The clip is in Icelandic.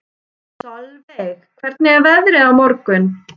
Solveig, hvernig er veðrið á morgun?